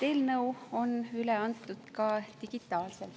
Eelnõu on üle antud ka digitaalselt.